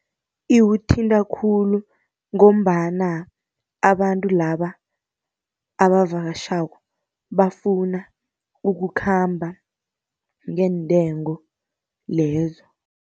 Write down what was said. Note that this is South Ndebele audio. Iwuthinta khulu ngombana abantu laba abavakatjhako, bafuna ukukhamba ngeentengo lezo.